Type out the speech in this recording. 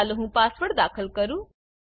ચાલો હું પાસવર્ડ દાખલ કરું